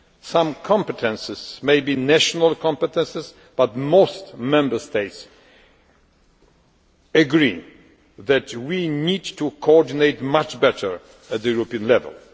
Some competences may be national competences, but most Member States agree that we need to coordinate much better at European level.